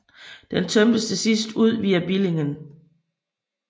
Den tømtes til sidst ud via Billingen